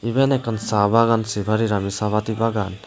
eben akkan cha bagan sapa rir ami cha pati bagan.